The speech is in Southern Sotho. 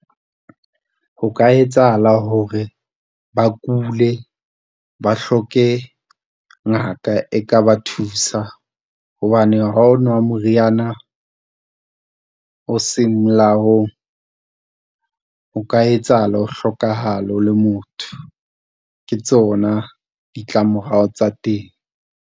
Ho ka etsahala hore ba kule, ba hloke ngaka e ka ba thusa, hobane ha o nwa moriana o seng molaong, ho ka etsahala o hlokahale o le motho. Ke tsona ditlamorao tsa teng.